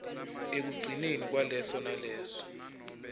ekugcineni kwaleso naleso